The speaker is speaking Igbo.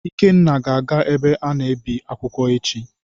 Ikenna ga-aga ebe a na-ebi akwụkwọ echi.